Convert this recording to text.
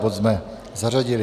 Bod jsme zařadili.